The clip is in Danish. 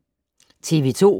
TV 2